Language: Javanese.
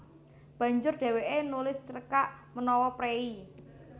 Banjur dhèwèké nulis cerkak menawa préi